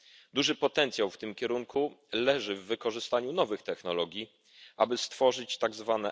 Duży potencjał w tym kierunku leży w wykorzystaniu nowych technologii, aby stworzyć tzw.